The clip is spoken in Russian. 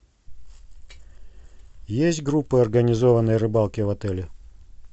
есть группа организованной рыбалки в отеле